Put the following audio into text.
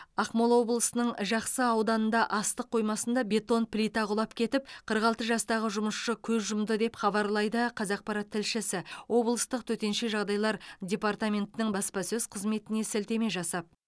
ақмола облысының жақсы ауданында астық қоймасында бетон плита құлап кетіп қырық алты жастағы жұмысшы көз жұмды деп хабарлайды қазақпарат тілшісі облыстық төтенше жағдайлар депортаментінің баспасөз қызметіне сілтеме жасап